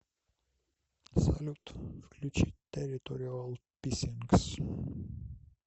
салют включи тэрриториал писсингс